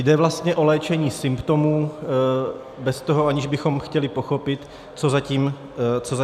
Jde vlastně o léčení symptomů bez toho, že bychom chtěli pochopit, co za tím vězí.